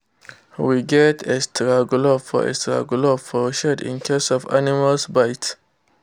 we get extra glove for extra glove for shed in case of animal bite.